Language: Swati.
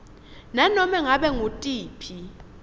nanobe ngabe ngutiphi